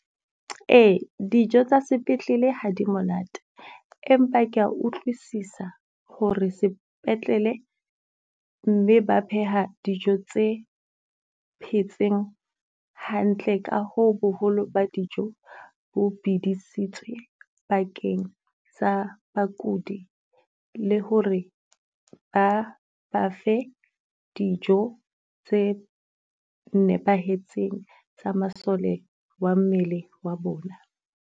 Ee, dijo tsa sepetlele ha di monate, empa ke ya utlwisisa ho re sepetlele mme ba pheha dijo tse phetseng hantle ka hoo boholo ba dijo bo bidisitsweng bakeng sa bakudi. Le ho re ba ba fe dijo tse nepahetseng tsa masole wa mmele wa bona.